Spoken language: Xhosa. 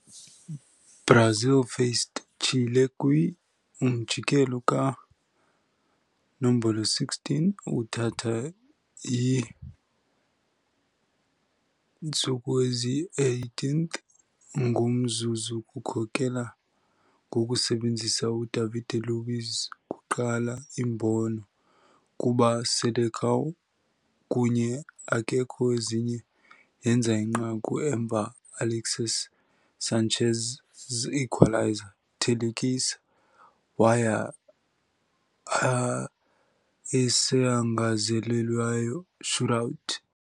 Brazil faced Chile kwi - umjikelo kanombolo 16, uthatha iinstuku eziyi-18th ngomzuzu kukhokela ngokusebenzisa UDavide Luiz's kuqala imbono kuba "Seleção". Kunye akekho ezinye yenza inqaku emva Alexis Sánchez's equaliser, thelekisa, waya a esangezelelweyo shootout.